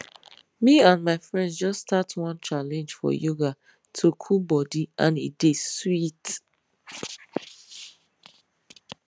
me and my friends just start one challenge for yoga to cool body and e dey sweet